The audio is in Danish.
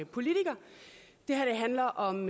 politiker det her handler om